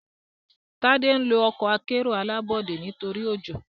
Tade nlọ Ọkọ̀ akẹ́rù alábọ́dé nítorí ojó.